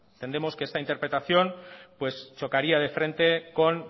entendemos que esta interpretación pues chocaría de frente con